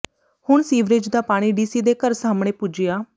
ਹੁਣ ਸੀਵਰੇਜ ਦਾ ਪਾਣੀ ਡੀਸੀ ਦੇ ਘਰ ਸਾਹਮਣੇ ਪੁੱਜਿਆ